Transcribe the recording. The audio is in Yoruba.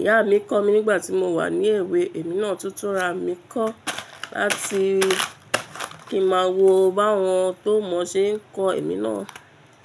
Ìyá mi kọ́ mi nígbà tí mo wà ní èwe, èmi náà tuntun ra mi kọ̀ láti kí ma wo bá wọn tó mọ ṣe ń kọ èmi náà.